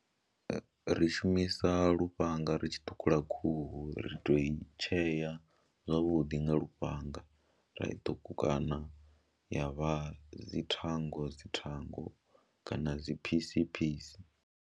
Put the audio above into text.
Ri shumisa lufhanga ri tshi ṱhukhula khuhu ri tou i tshea zwavhuḓi nga lufhanga, ra i ṱhukhukana ya vha dzi thango dzi thango kana dzi phisi phisi.